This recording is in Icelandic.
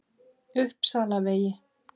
Uppsalavegi